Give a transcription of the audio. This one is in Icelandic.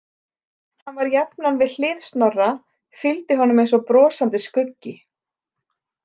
Hann var jafnan við hlið Snorra, fylgdi honum eins og brosandi skuggi.